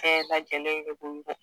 bɛɛ lajɛlen ye